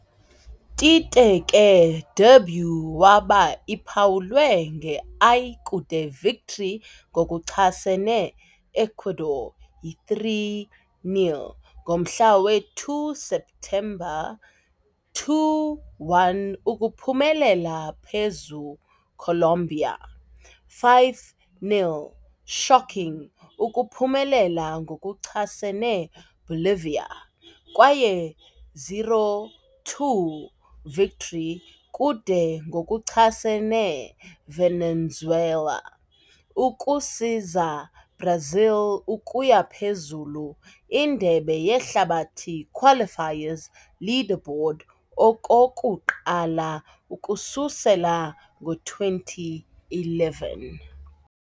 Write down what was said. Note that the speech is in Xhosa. Tite ke debut waba iphawulwe nge-i kude victory ngokuchasene Ecuador yi-3-0 ngomhla we-2 septemba, 2-1 ukuphumelela phezu Colombia, 5-0 shocking ukuphumelela ngokuchasene Bolivia kwaye 0-2 victory kude ngokuchasene Venezuela, ukusiza Brazil ukuya phezulu Indebe Yehlabathi Qualifiers leaderboard okokuqala ukususela ngo-2011.